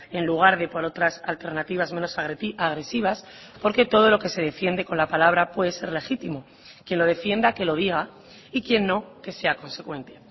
en lugar de por otras alternativas menos agresivas porque todo lo que se defiende con la palabra puede ser legítimo quien lo defienda que lo diga y quien no que sea consecuente